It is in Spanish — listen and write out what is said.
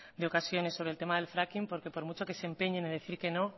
de ocasiones sobre el tema del fracking porque por mucho que se empeñe en decir que no